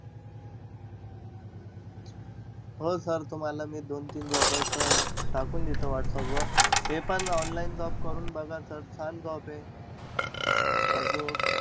हो sir तुम्हाला मी दोन-तीन job चं अं टाकून देतो whatsapp वर. हे पन online job करून बघा sir. छान job आहे. आजूक